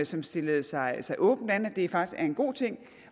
som stillede sig sig åbent an at det faktisk er en god ting